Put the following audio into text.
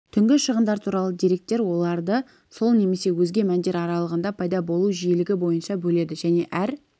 түнгі шығындар туралы деректер оларды сол немесе өзге мәндер аралығында пайда болу жиілігі бойынша бөледі және әр